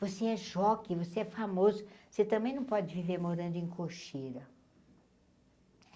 Você é jokey, você é famoso, você também não pode viver morando em cocheira.